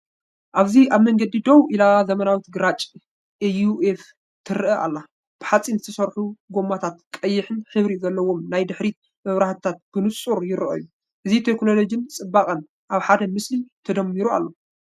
ኣብዚ ኣብ መንገዲ ደው ኢላ ዘመናዊት ግራጭ ኤስዩቭ ትረአ ኣላ። ብሓጺን ዝተሰርሑ ጎማታታን ቀይሕ ሕብሪ ዘለዎም ናይ ድሕሪት መብራህታታን ብንጹር ይረኣዩ። እዚ ቴክኖሎጂን ጽባቐን ኣብ ሓደ ምስሊ ተደሚሩ ኣሎ።